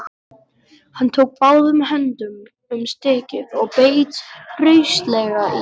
Hann tók báðum höndum um stykkið og beit hraustlega í.